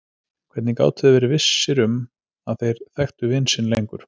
Hvernig gátu þeir verið vissir um að þeir þekktu vin sinn lengur?